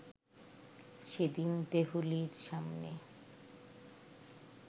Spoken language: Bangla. সেদিন ‘দেহলী’-র সামনে